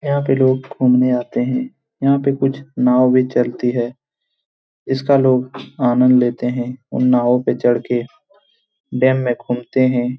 यहाँ पे लोग घूमने आते है। यहाँ पे कुछ नाव भी चलती है इसका लोग आनंद लेते हैं। उन नावों पे चढ़ के डैम मे घूमते हैं।